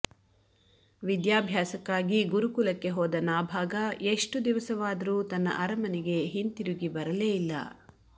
ವಿದ್ಯಾಭ್ಯಾಸಕ್ಕಾಗಿ ಗುರುಕುಲಕ್ಕೆ ಹೋದ ನಾಭಾಗ ಎಷ್ಟು ದಿವಸವಾದರೂ ತನ್ನ ಅರಮನೆಗೆ ಹಿಂತಿರುಗಿ ಬರಲೇ ಇಲ್ಲ